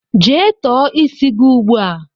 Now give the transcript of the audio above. Jee tọọ isi gị ugbu a!